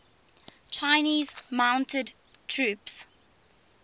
chinese mounted troops